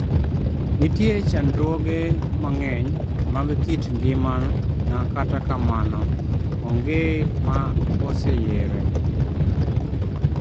nitie chakruoge mang'eny mag kit ngima n kata kamano onge ma oseyere